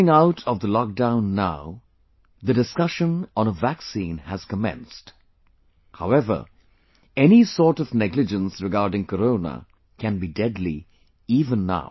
Coming out of the lockdown now the discussion on a vaccine has commenced, however, any sort of negligence regarding Corona can be deadly even now